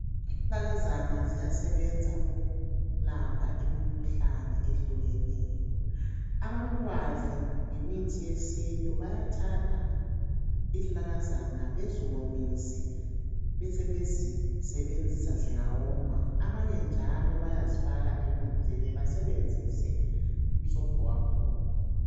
Izinanakazana ziyasebenza ukulapha imikhuhlane ehlukeneyo. Abalolwazi ngemithi yesintu bayathatha izinanakazana beziwomise besebezisebenzisa zingawoma. Abanye njalo bayazifaka emanzini basebenzise umsobho wakhona.